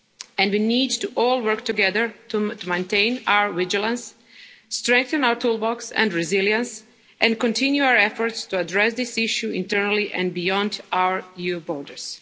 is here to stay and we all need to work together to maintain our vigilance, strengthen our toolbox and resilience, and continue our efforts to address this issue internally and beyond